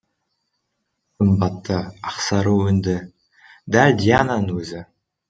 сымбатты ақсары өңді дәл диананың өзі